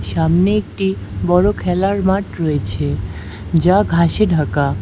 সামনে একটি বড় খেলার মাঠ রয়েছে যা ঘাসে ঢাকা।